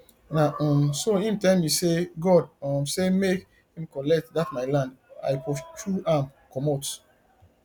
na um so im tell me sey god um say make im collect dat my land i pursue am comot